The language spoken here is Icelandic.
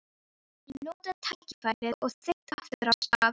Ég notaði tækifærið og þaut aftur af stað.